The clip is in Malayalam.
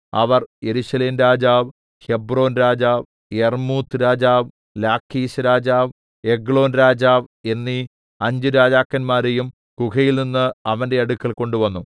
അവർ യെരൂശലേംരാജാവ് ഹെബ്രോൻരാജാവ് യർമ്മൂത്ത് രാജാവ് ലാഖീശ്‌രാജാവ് എഗ്ലോൻരാജാവ് എന്നീ അഞ്ചുരാജാക്കന്മാരെയും ഗുഹയിൽനിന്ന് അവന്റെ അടുക്കൽ കൊണ്ടുവന്നു